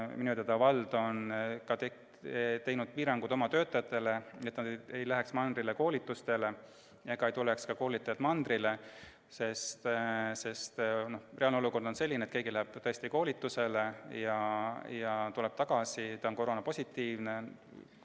Minu teada on vald seadnud oma töötajatele piirangud, et nad ei läheks mandrile koolitustele ega tuleks ka koolitajad mandrile, sest reaalne olukord on selline, et keegi läheb koolitusele ja tuleb tagasi koroonapositiivsena.